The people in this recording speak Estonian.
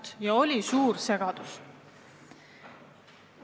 See on kaasa toonud suurt segadust.